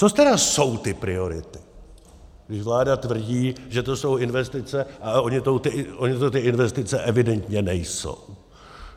Co tedy jsou ty priority, když vláda tvrdí, že to jsou investice, ale ony to ty investice evidentně nejsou?